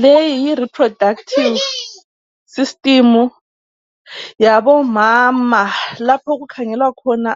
Leyi yi reproductive system yabomama lapho okukhangelwa khona